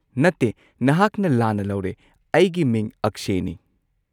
ꯅꯠꯇꯦ, ꯅꯍꯥꯛꯅ ꯂꯥꯟꯅ ꯂꯧꯔꯦ, ꯑꯩꯒꯤ ꯃꯤꯡ ꯑꯛꯁꯦꯅꯤ꯫